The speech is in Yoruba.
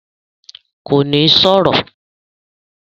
Kò ní sọ̀rọ̀?